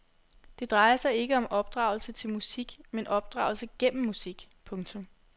Det drejer sig ikke om opdragelse til musik men opdragelse gennem musik. punktum